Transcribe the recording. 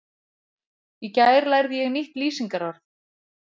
Í gær lærði ég nýtt lýsingarorð.